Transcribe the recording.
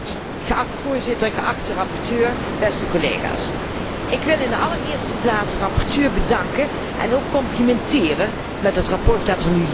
Voorzitter, geachte rapporteur, beste collega's, ik wil in de allereerste plaats de rapporteur bedanken en ook complimenteren met het verslag dat er nu ligt.